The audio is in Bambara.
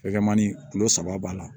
Fɛkɛmani kilo saba b'a la